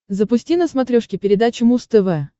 запусти на смотрешке передачу муз тв